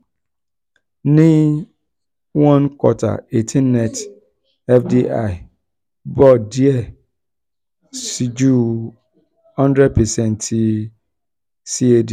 um ni one q eighteen net fdi um bo diẹ bo diẹ um sii ju one hundred percent ti cad.